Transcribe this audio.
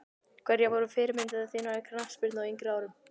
Hverjar voru fyrirmyndir þínar í knattspyrnu á yngri árum?